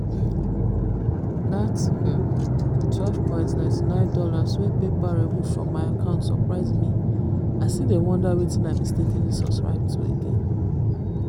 that $12.99 wey paypal remove from my account surprise me i still dey wonder wetin i mistakenly subscribe to again